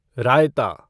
रायता